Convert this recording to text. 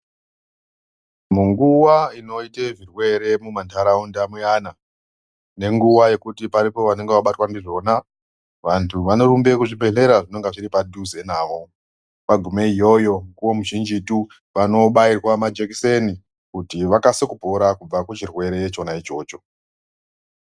Nguwa inoite zvirwere mumanharaunda muyana nenguwa yekuti paripo vanenge vabatwa ndizvona vantu vanorumbe kuzvibhedhlera zvinenge zviri padhuze navo .Vagumeiyoyo mikuwo mizhinjitu vanobairwe majekiseni kuti vakase kupora kubve kuchirwere chona ichocho.